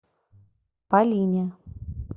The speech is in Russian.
полине